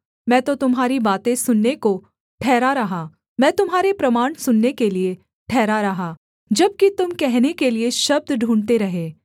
मैं तो तुम्हारी बातें सुनने को ठहरा रहा मैं तुम्हारे प्रमाण सुनने के लिये ठहरा रहा जबकि तुम कहने के लिये शब्द ढूँढ़ते रहे